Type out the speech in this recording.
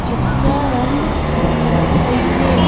जिसका रंग कत्थई है।